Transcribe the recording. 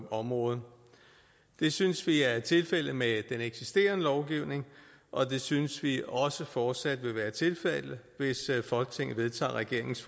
området det synes vi er tilfældet med den eksisterende lovgivning og det synes vi også fortsat vil være tilfældet hvis folketinget vedtager regeringens